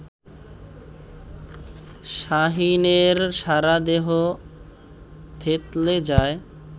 শাহীনের সারাদেহ থেতলে যায়